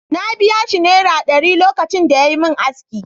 Na biya shi Naira ɗari lokacin da yayi min aski.